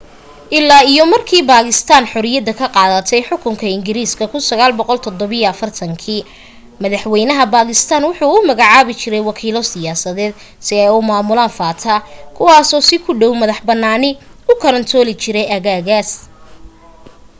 ilaa iyo markii bakistaan xorriyada ka qaadatay xukunkii ingiriiska 1947 madaxwaynaha bakistaan wuxu u magacaabi jiray wakiilo siyaasadeed si ay u maamulaan fata kuwaasoo si ku dhow madax bannaani u kaantarooli jiray aagagaaas